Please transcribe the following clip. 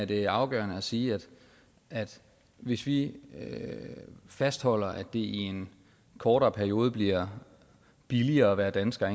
det er afgørende at sige at hvis vi fastholder at det i en kortere periode bliver billigere at være dansker